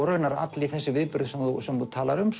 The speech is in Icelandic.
raunar allir þessir viðburðir sem þú sem þú talar um